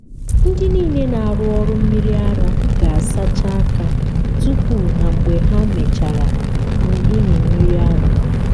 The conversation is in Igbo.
ndị niile na-arụ ọrụ mmiri ara ga-asacha aka tupu na mgbe ha mechara ịmị mmiri ara.